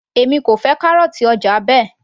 èmi kò fẹ́ kárọ̀ọ̀tì ọjà Ben